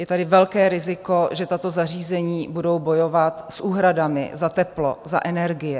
Je tady velké riziko, že tato zařízení budou bojovat s úhradami za teplo, za energie.